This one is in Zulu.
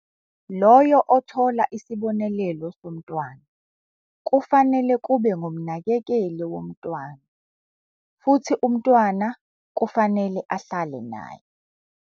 Loyo othola isibonelelo somntwana kufanele kube ngumnakekeli womntwana futhi umntwana kufanele ahlale naye.